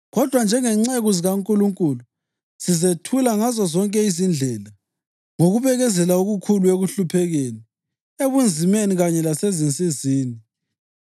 Kodwa, njengezinceku zikaNkulunkulu sizethula ngazozonke izindlela: ngokubekezela okukhulu; ekuhluphekeni, ebunzimeni kanye lasezinsizini;